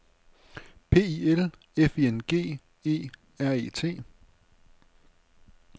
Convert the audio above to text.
P I L F I N G E R E T